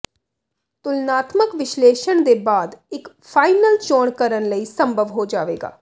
ਤੁਲਨਾਤਮਕ ਵਿਸ਼ਲੇਸ਼ਣ ਦੇ ਬਾਅਦ ਇੱਕ ਫਾਈਨਲ ਚੋਣ ਕਰਨ ਲਈ ਸੰਭਵ ਹੋ ਜਾਵੇਗਾ